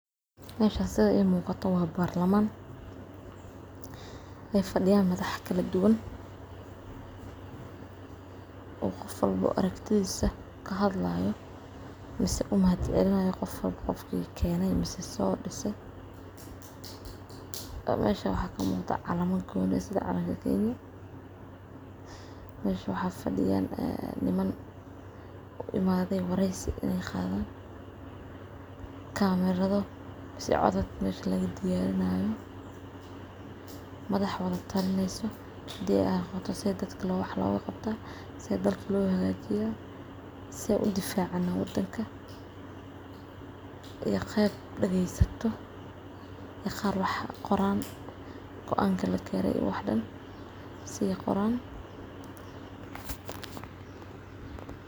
Meshan sitha ii muqato wa barlaman ay fadiyan madax kaladugan oo qof walbo aragtidisa kahadlayo mise u mahad celinayo qofwalbo qofki keney so mise, mesha wxa kamuqda calama goni ah sitha calank Kenya, mesha wxa fadiyan niman u imade wareysi